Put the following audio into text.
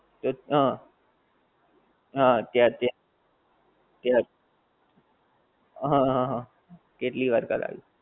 તો હા, હા ત્યાર ત્યાં, ત્યાં, હા હા હા, કેટલી વાર કડાયું